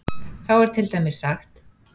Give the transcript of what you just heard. Þá er til dæmis sagt